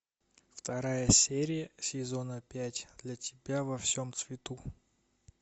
вторая серия сезона пять для тебя во всем цвету